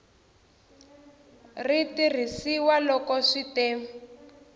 ri tirhisiwa loko swi te